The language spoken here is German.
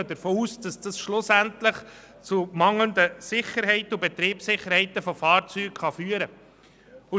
Wir gehen davon aus, dass das schlussendlich zu mangelnder Sicherheit und Betriebssicherheit von Fahrzeugen führen kann.